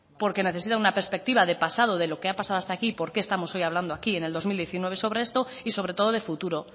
porque necesita una perspectiva de pasado de lo que ha pasado hasta aquí y por qué estamos hoy hablando hoy aquí en el dos mil diecinueve sobre esto y sobre todo de futuro